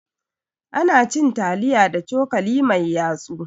Ana cin taliya da cokali mai yatsu.